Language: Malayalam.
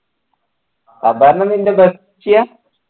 അപർണ നിൻ്റെ bestie യാ